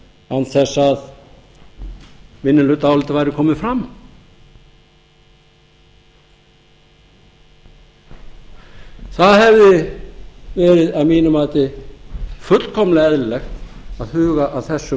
án þess að minnihlutaálitið væri komið fram það hefði verið að mínu mati fullkomlega eðlilegt að huga að þessum